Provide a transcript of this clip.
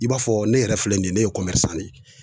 I b'a fɔ ne yɛrɛ filɛ nin ye, ne ye de ye .